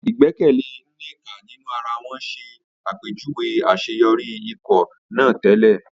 Ìgbẹ́kẹ̀lé Nneka nínú ara wọn ṣàpèjúwe àṣeyọrí ikọ̀ náà tẹ́lẹ̀.